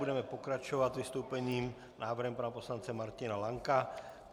Budeme pokračovat vystoupením, návrhem pana poslance Martina Lanka.